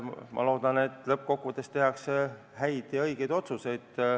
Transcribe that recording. Ma loodan, et lõppkokkuvõttes tehakse häid ja õigeid otsuseid.